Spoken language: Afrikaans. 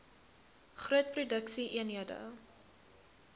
groot produksie eenhede